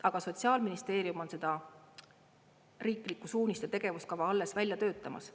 Aga Sotsiaalministeerium on seda riiklikku suunist ja tegevuskava alles välja töötamas.